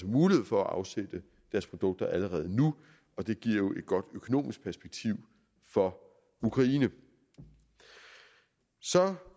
mulighed for at afsætte deres produkter allerede nu og det giver jo et godt økonomisk perspektiv for ukraine så